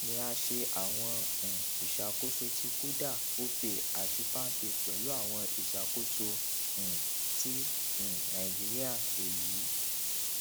ni a ṣe awọn um iṣakoso ti kuda opay ati palmpay pẹlu awọn iṣakoso um ti um nigerian eyi